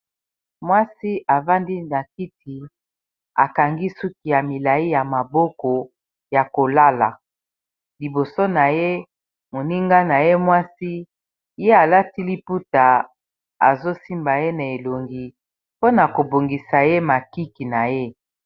Mwasi avandi na kiti akangi suki ya milai ya maboko ya kolala liboso na ye moninga na ye mwasi ye alati liputa azosimba ye na elongi mpona kobongisa ye makiki na ye.